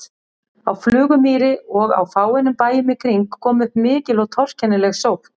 Á Flugumýri og á fáeinum bæjum í kring kom upp mikil og torkennileg sótt.